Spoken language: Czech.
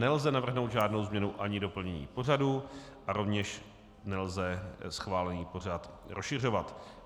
Nelze navrhnout žádnou změnu ani doplnění pořadu a rovněž nelze schválený pořad rozšiřovat.